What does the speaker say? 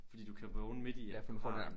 Fordi du kan vågne midt i at du har en